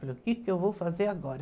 Falei, o que que eu vou fazer agora?